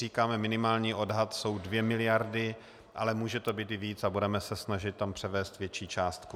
Říkáme, minimální odhad jsou 2 miliardy, ale může to být i víc a budeme se snažit tam převést větší částku.